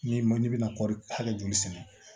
N'i ma n'i bɛna kɔri hakɛ joli sɛnɛ